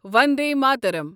Vande Mataram